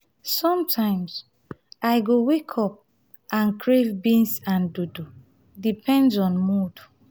sometimes i go wake up and crave beans and dodo depends on mood.